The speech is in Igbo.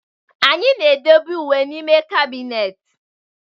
Anyị na-edebe uwe n'ime kabinet.